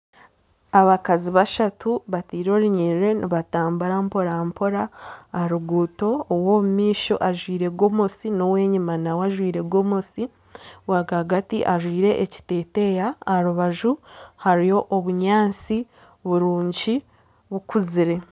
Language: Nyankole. Abakazi bashatu bataire orunyiriri nibatamburira mporampora aha ruguuto ow'omumaisho ajwaire gomosi n'ow'enyuma nawe ajwaire gomosi owa rwagati ajwaire ekiteteeya aha rubaju hariyo obunyaatsi burungi bukuzire.